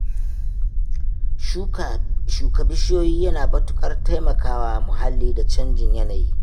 Shuka bishiyu yana matuƙar taimaka wa muhalli da canjin yanayi